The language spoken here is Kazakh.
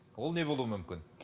ол не болуы мүмкін